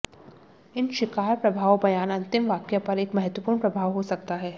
इन शिकार प्रभाव बयान अंतिम वाक्य पर एक महत्वपूर्ण प्रभाव हो सकता है